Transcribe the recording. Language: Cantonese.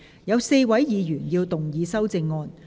有4位議員要動議修正案。